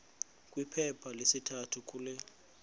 kwiphepha lesithathu kule